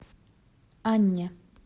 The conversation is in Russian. анне